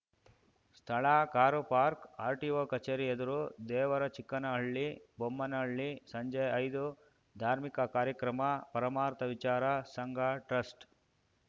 ಸ್ಥಳ car park RTO ಕಚೇರಿ ಎದುರು ದೇವರಚಿಕ್ಕನಹಳ್ಳಿ ಬೊಮ್ಮನಹಳ್ಳಿ ಸಂಜೆ ಐದು ಧಾರ್ಮಿಕ ಕಾರ್ಯಕ್ರಮ ಪರಮಾರ್ಥ ವಿಚಾರ ಸಂಘ ಟ್ರಸ್ಟ್‌